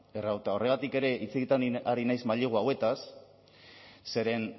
eta horregatik ere hitz egiten ari naiz mailegu hauetaz zeren